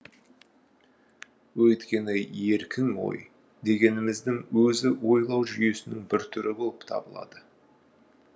өйткені еркін ой дегеніміздің өзі ойлау жүйесінің бір түрі болып табылады